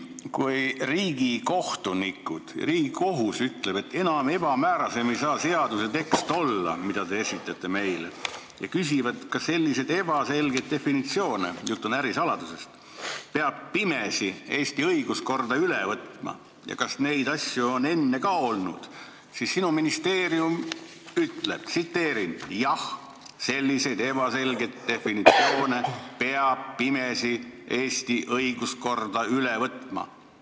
Kui Riigikohus ütleb, et seaduse tekst ei saa olla enam ebamäärasem kui see, mille te meile esitasite, ja küsib, kas sellised ebaselgeid definitsioone – jutt on ärisaladusest – peab Eesti õiguskorda pimesi üle võtma ja kas neid asju on enne ka olnud, siis sinu ministeerium ütleb: "Jah, selliseid ebaselgeid definitsioone peab Eesti õiguskorda pimesi üle võtma.